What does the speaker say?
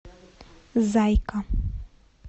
зайка